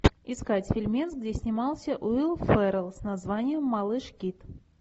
искать фильмец где снимался уилл феррелл с названием малыш кит